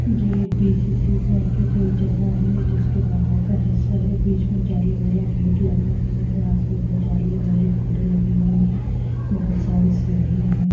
ये बी.सी.सी कर के कोई जगह है जिसके बाहर का हिस्सा है बीच में जाली वाला गेट लगा हुआ है जाली-वाली विंडो लगी हुई है बोहोत सारी सीढ़ियाँ है।